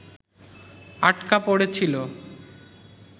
আটকা পড়েছিল